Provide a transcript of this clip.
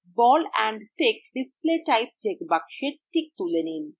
ball and stick display type checkbox টিক তুলে দিন